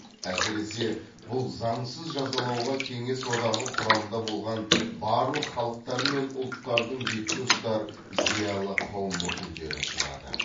әсіресе бұл заңсыз жазалауға кеңес одағы құрамында болған барлық халықтар мен ұлттардың бетке ұстар зиялы қауым өкілдері ұшырады